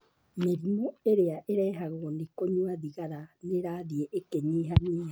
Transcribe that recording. Mĩrimũ ĩrĩa ĩrehagwo nĩ kũnyua thigara nĩ ĩrathiĩ ĩkĩnyihanyiha.